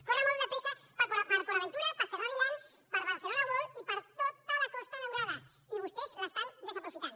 corre molt de pressa per a port aventura per a ferrari land per a barcelona world i per a tota la costa daurada i vostès l’estan desaprofitant